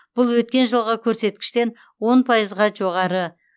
бұл өткен жылғы көрсеткіштен он пайызға жоғары